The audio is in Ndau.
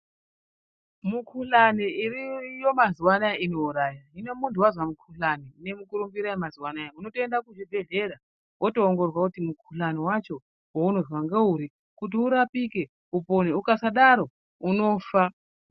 Mukuhlani iriyo iyo mazuwaanaya inouraya hino munthu wazwa mukuhlani ine mukurumbira yemazuwaanaya unotoenda kuzvibhedhlera wotoongororwa kuti mukuhlani wacho waunozwa ngeuri kuti urapike upone ukasadaro unofa.